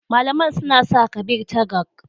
Malaman suna sa Kabir Tagang.